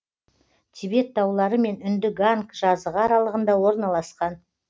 тибет таулары мен үнді ганг жазығы аралығында орналасқан